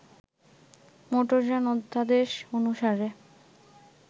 মোটরযান অধ্যাদেশ অনুসারে